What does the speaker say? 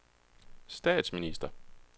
statsminister